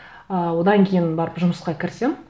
ы одан кейін барып жұмысқа кірісемін